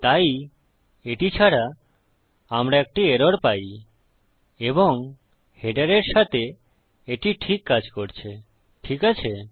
তাই এটি ছাড়া আমরা একটি এরর পাই এবং হেডারের সাথে এটি ঠিক কাজ করে ঠিক আছে